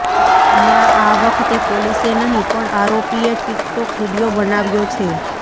નાં આ વખતે પોલીસે નહીં પણ આરોપીએ ટીકટોક વીડિયો બનાવ્યો છે